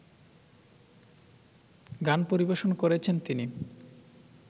গান পরিবেশন করেছেন তিনি